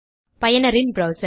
பயனரின் ப்ரௌசர்